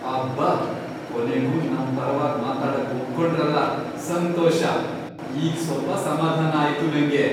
ಅಬ್ಬಾ! ಕೊನೆಗೂ ನಮ್ ಪರವಾಗ್ ಮಾತಾಡಕ್ ಒಪ್ಕೊಂಡ್ರಲ, ಸಂತೋಷ! ಈಗ್ ಸ್ವಲ್ಪ ಸಮಾಧಾನ ಆಯ್ತು ನಂಗೆ.